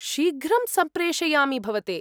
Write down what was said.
शीघ्रं सम्प्रेषयामि भवते।